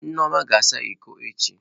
Nneoma ga-asa iko echi.